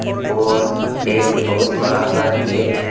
और एक बहुत बड़ा सा गेट है।